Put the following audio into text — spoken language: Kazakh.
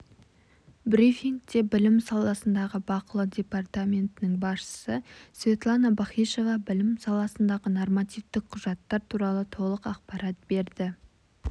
брифингте білім саласындағы бақылау департаментінің басшысы светлана бахишева білім саласындағы нормативтік құжаттар туралы толық ақпарат берді